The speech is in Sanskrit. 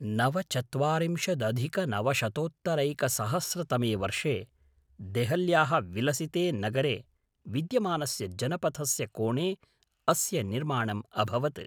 नवचत्वारिंशदधिकनवशतोत्तरैकसहस्रतमे वर्षे देहल्याः विलसिते नगरे विद्यमानस्य जनपथस्य कोणे अस्य निर्माणम् अभवत्।